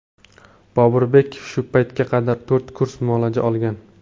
Boburbek shu paytga qadar to‘rt kurs muolaja olgan.